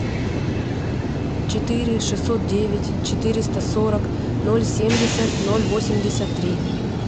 четыре шестьсот девять четыреста сорок ноль семьдесят ноль восемьдесят три